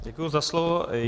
Děkuji za slovo.